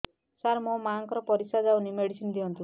ସାର ମୋର ମାଆଙ୍କର ପରିସ୍ରା ଯାଉନି ମେଡିସିନ ଦିଅନ୍ତୁ